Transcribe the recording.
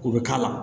O bɛ k'a la